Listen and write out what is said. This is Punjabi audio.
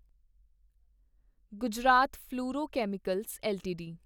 Gujarat fluorochemicals LTD